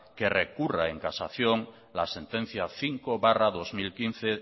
que recurra en casación la sentencia cinco barra dos mil quince